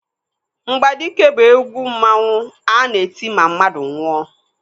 Mgbadike bụ egwu mmanwu a na-eti ma mmadụ nwụọ.